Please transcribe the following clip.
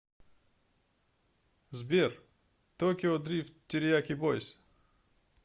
сбер токио дрифт терияки бойз